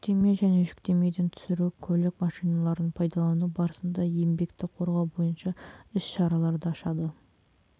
жүктеме және жүктемеден түсіру көлік машиналарын пайдалану барысында еңбекті қорғау бойынша іс-шараларды ашады